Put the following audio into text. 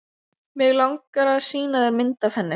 Mig langar að sýna þér mynd af henni.